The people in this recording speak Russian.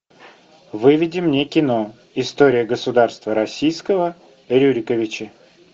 выведи мне кино история государства российского рюриковичи